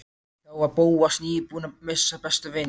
Þá var Bóas nýbúinn að missa besta vin sinn.